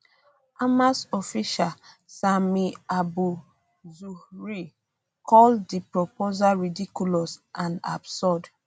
hamas official sami abu zuhri call di proposal ridiculous and absurd